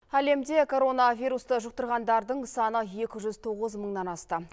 әлемде коронавирусты жұқтырғандардың саны екі жүз тоғыз мыңнан асты